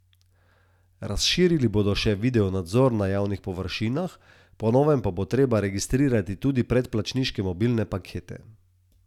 Razširili bodo še videonadzor na javnih površinah, po novem pa bo treba registrirati tudi predplačniške mobilne pakete.